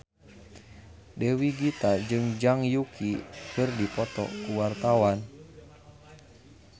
Dewi Gita jeung Zhang Yuqi keur dipoto ku wartawan